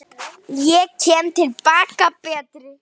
Ég kem til baka betri.